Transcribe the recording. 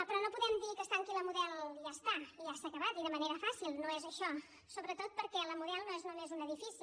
però no podem dir que es tanqui la model i ja està i ja s’ha acabat i de manera fàcil no és això sobretot perquè la model no és només un edifici